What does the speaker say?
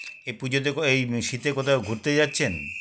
এই পুজোতে ক এই শীতে কোথাও ঘুরতে যাচ্ছেন